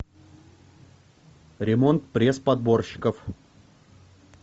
ремонт пресс подборщиков